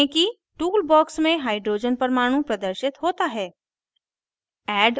देखें कि tool box में hydrogen परमाणु प्रदर्शित होता है